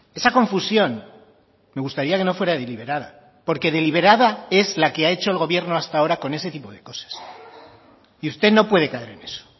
esa confusión me gustaría que no fuera deliberada porque deliberada es la que ha hecho el gobierno hasta ahora con ese tipo de cosas y usted no puede caer en eso